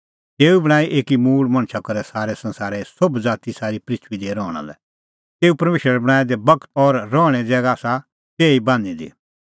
तेऊ बणांईं एकी मूल़ मणछा करै सारै संसारे सोभ ज़ाती सारी पृथूई दी रहणा लै तेऊ परमेशरै बणांऐं दै बगत और रहणें ज़ैगा आसा तैही बान्हीं दी